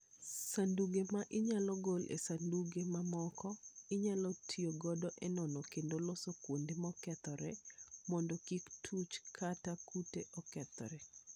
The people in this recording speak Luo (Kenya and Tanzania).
Sanduge ma inyalo gol e sanduge mamoko, inyalo ti godo e nono kendo loso kuonde mokethore mondo kik tuoche kata kute okethre.